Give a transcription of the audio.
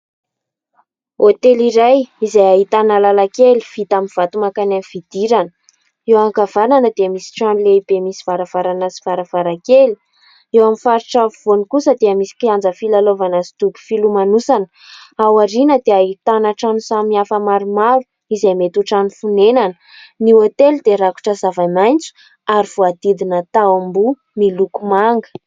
Hotely iray : izay ahitana lalan-kely vita amin'ny vato mankany amin'ny fidirana, eo ankavanana dia misy trano lehibe misy varavarana sy varavarakely, eo amin'ny faritra afovoany kosa dia misy kianja filalaovana sy dobo filomanosana, ao aoriana dia ahitana trano samy hafa maromaro izay mety trano fonenana, ny hotely dia rakotra zava-maitso ary voahodidina tamboho miloko manga.